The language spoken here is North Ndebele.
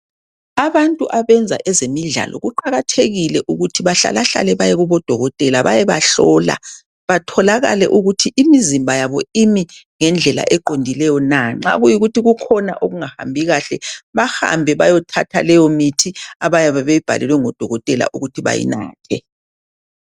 Abantu abenza ezemidlalo kuqakathekile ukuthi bahlala hlale bayekobodokotela bayebahlola batholakale ukuthi imizimba yabo imi ngendlela eqondileyo na nxa kuyikuthi kukhona okungahambi kahle bahambe bayithatha leyo mithi abayabe beyibhalelwe ngodokotela ukuthi bayinathe.